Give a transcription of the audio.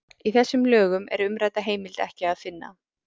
í þessum lögum er umrædda heimild ekki að finna